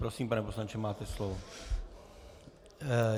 Prosím, pane poslanče, máte slovo.